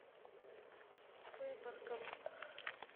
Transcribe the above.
выборгом